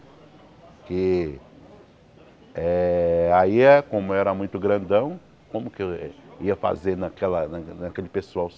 Porque eh aí, como eu era muito grandão, como que eu ia fazer naquela naquele pessoal?